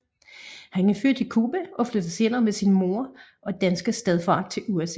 Han er født i Cuba og flyttede senere med sin mor og danske stedfar til USA